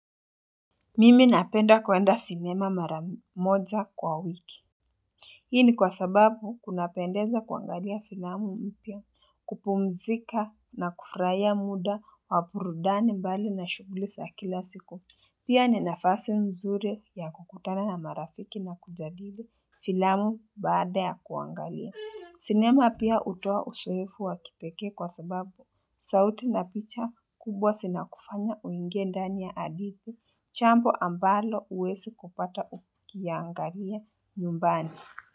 Mimi napenda kuenda sinema mara moja kwa wiki Hii ni kwa sababu kunapendeza kuangalia filamu mpya kupumzika na kufurahia muda wa burudani mbali na shughuli za kila siku Pia ni nafasi mzuri ya kukutana na marafiki na kujadili filamu baada ya kuangalia sinema pia hutoa uzoefu wa kipekee kwa sababu sauti na picha kubwa zinakufanya uingie ndani ya hadithi jambo ambalo huwezi kupata ukiangalia nyumbani.